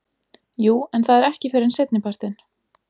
Jú en það er ekki fyrr en seinnipartinn.